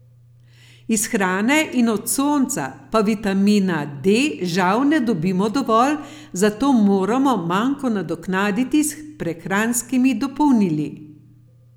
Iz hrane in od sonca pa vitamina D žal ne dobimo dovolj, zato moramo manko nadoknaditi s prehranskimi dopolnili.